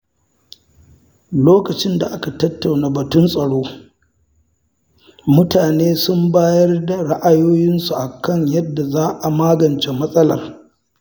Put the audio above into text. Lokacin da aka tattauna batun tsaro, mutane sun bayar da ra’ayoyinsu kan yadda za a magance matsalar.